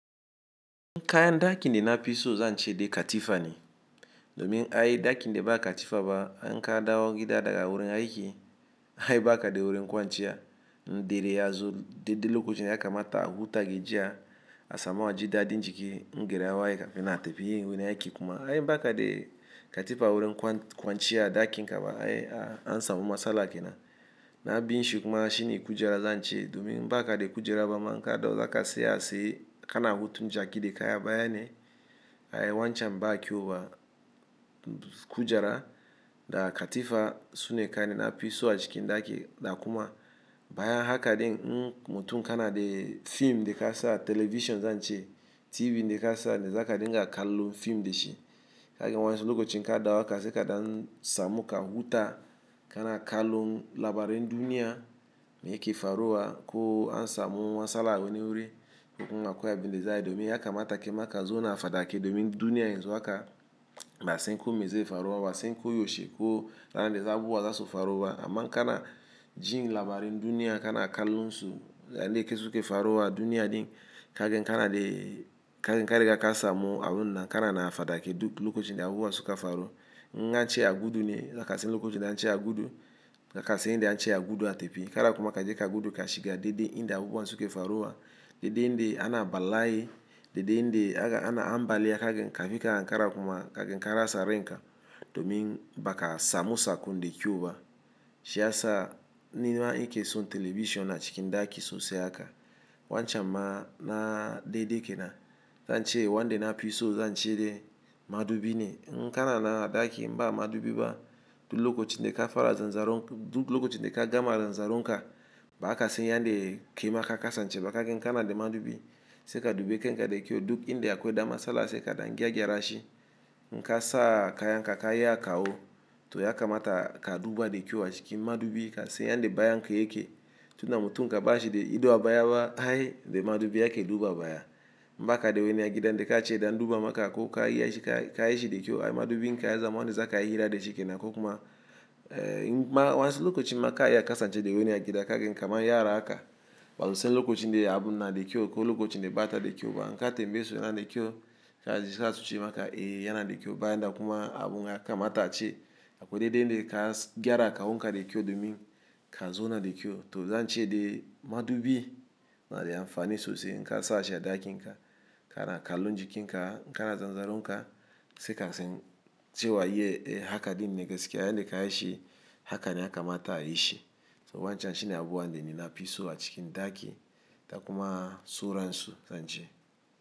Kayan ɗakin da nafiso zance de katifane. Domin ai ɗakinda ba katifa ba, in kadawo gida daga wurin aiki, aye bakade wurin kwanciya, indare yazo de de lokochi ne ya kamata a huta gajiya, a samu aji dadin jiki, in gari ya waye kafin aa tafi wurin aiki kuma ai bakade katifa wurin kwanciya ɗakinka ba ai ansamu matsala kenan na biyun shi kuma shine kujera zance. Domin in bakade kujara bama in kadawo tsaka a tsaye kana hutun jaki de kaya baya ne, ai wancan ba kyowa kujara da katifa sune kayanda nafiso a cikin ɗaki da kuma baya haka din in mutum kanade fim dekasa television zance, TV da kasa da zaka dinga kalu fim dashi. Kaga wadansu lokoci in kadawo haka saika ka dan samu ka huta kana kalu labarin duniya me yake faruwa ko ansa mu matsala wani wurin, ko kuma akwai abinda za ayi. Domin ya kamata kaima kazona fadake domin duniyan yanzo haka, ba'asan kome zai faruba, ba'asan ko yaushi ko ranarda abubuwa zasubfaruba. Amma in kanajin labarin duniya kana kalunsu yane ke suke faruwa, a duniya din kage kana de kaga ka riga kasamu abunna kana na fadake duk lokochi de abubuwa su ka faruwa. In ance agudu ne za kasan lokoci da ance agudu, zakasan inda ance agudu a tefi. Kada kuma kaje ka gudu ka shiga de de inda abubuwa suke faruwa, de de inde ana bala'iye, de de inde ana ambaliya kaga kafi ka ankara kuma kage ka rasa renka. Domin baka samu sakun de kyau ba. Shiyasa nima nikeson television a ciki ɗaki sosai haka. Wancam ma nadede kenam zance wande nafiso zance de madubi ne. In kana nan ɗaki inba madubi ba, duk lokoci de ka fara zanzaron, duk lokoci de kagama zanzaron ka, ba zakasan yande kema ka kasance ba kage in kanade madubi. Saika dubi kanka dakyau duk inde a kwai da masala saika dan gya gyara shi. In kasa kayanka kayi a kawo to yakamata ka duba dakyau a chiki madubi kasan yande bayanka yake. Tunda mutun gabanshi de ido a baya ba ai da madubi ake duba baya. In bakade wani agida da kace da anduba maka ko kayishi dakyau ai madubinka ya zaman ne zakayi hira dashi kenan ko kuma, wayansu lokoci inma kayi a kasance da wani agida kaga kaman yara haka. Basusan lokocinda abun nada kyauko lokocinda bata da kyau ba. Inka tembes yanade kyau kajia zasu cevmaka eh yanade kyau bayanda kuma abun ya kamata a che. A kwai de de ne ka gyara kawo nka de ki yo domin ka zo na de ki yo to zance de madubi nada amfani sose in kasashi a ɗakinka kana kalu jikinka, kana zanzaron ka sai kasan cewa ye haka din ne gaskiya yande kayiishi haka ne yakamata a ayishi. So wancham shine abubuwanda ne nafiso a cikin ɗaki da kuma sauransu zance.